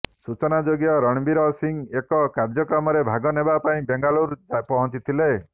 ସୂଚନାଯୋଗ୍ୟ ରଣବୀର ସିଂହ ଏକ କାର୍ୟ୍ୟକ୍ରମରେ ଭାଗ ନେବା ପାଇଁ ବେଙ୍ଗାଲୁରୁ ପହଞ୍ଚିଥିଲେ